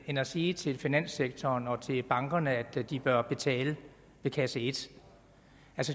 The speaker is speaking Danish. end at sige til finanssektoren og til bankerne at de bør betale ved kasse et